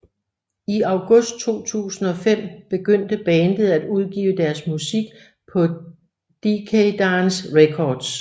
I august 2005 begyndte bandet at udgive deres musik på Decaydance Records